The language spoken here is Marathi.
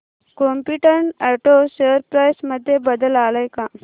कॉम्पीटंट ऑटो शेअर प्राइस मध्ये बदल आलाय का